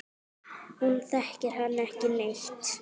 Hún þekkir hann ekki neitt.